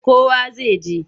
Kowa zai je.